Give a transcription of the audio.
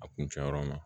A kuncɛ yɔrɔ ma